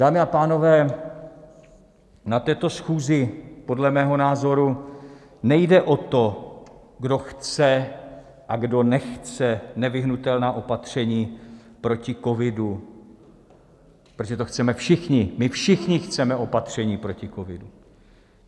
Dámy a pánové, na této schůzi podle mého názoru nejde o to, kdo chce a kdo nechce nevyhnutelná opatření proti covidu, protože to chceme všichni, my všichni chceme opatření proti covidu.